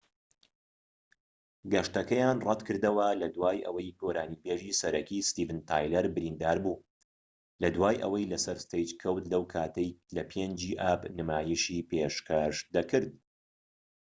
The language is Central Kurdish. گەشتەکەیان ڕەتكردەوە لەدوای ئەوەی گۆرانی بێژی سەرەکی ستیڤن تایلەر بریندار بوو لە دوای ئەوەی لە سەر ستەیج کەوت لەو کاتەی لە 5ی ئاب نمایشی پێشکەش دەکرد